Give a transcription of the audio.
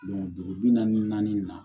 dugu bi naani ni naani na